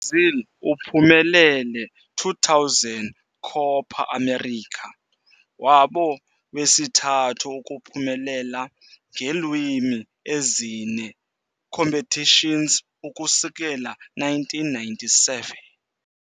Brazil uphumelele 2000 Copa América, wabo wesithathu ukuphumelela ngeelwimi ezine competitions ukusukela 1997